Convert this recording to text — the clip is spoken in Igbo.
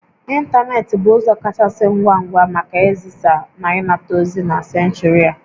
Ịntanetị bụ ụzọ kachasị ngwa ngwa maka izisa na ịnata ozi na senchuri a